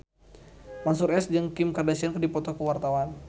Mansyur S jeung Kim Kardashian keur dipoto ku wartawan